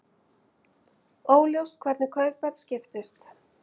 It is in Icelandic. Óljóst hvernig kaupverð skiptist